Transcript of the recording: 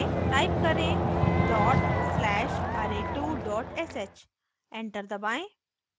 type करें: dot slash array2 sh enter दबाएं